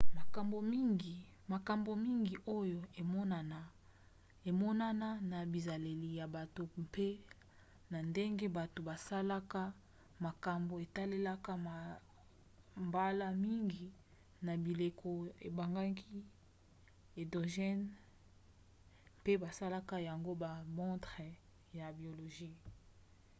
makambo mingi oyo emonana na bizaleli ya bato mpe na ndenge bato basalaka makambo etalelaka mbala mingi na bileko ebengami endogènes mpe basalaka yango na bamontre ya biologie